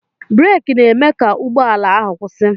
Breeki na-eme ka ụgbọ ala ahụ kwụsị